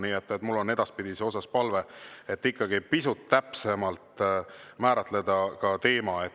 Nii et mul on edaspidiseks palve ikkagi pisut täpsemalt määratleda teema.